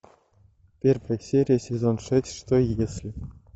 первая серия сезон шесть что если